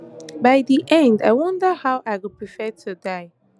by di end i wonder how i go prefer to die